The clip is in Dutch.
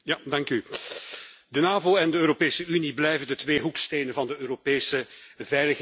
De NAVO en de Europese Unie blijven de twee hoekstenen van de Europese veiligheidsarchitectuur.